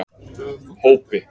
Hópi